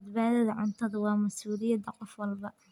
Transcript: Badbaadada cuntadu waa mas'uuliyadda qof walba.